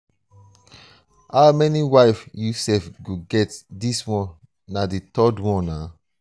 how many wife you sef go get dis one na um the third one.